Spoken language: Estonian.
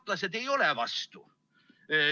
Tartlased ei ole vastu.